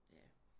Ja